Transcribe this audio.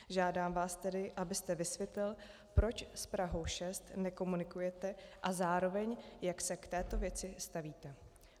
Žádám vás tedy, abyste vysvětlil, proč s Prahou 6 nekomunikujete, a zároveň, jak se k této věci stavíte.